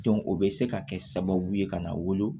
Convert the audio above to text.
o bɛ se ka kɛ sababu ye ka na wolo